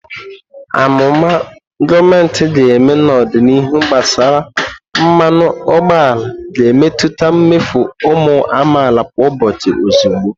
Amụma gọọmentị ga-eme n'ọdịnihu gbasara mmanụ ụgbọala ga-emetụta mmefu ụmụ amaala kwa ụbọchị ozugbo.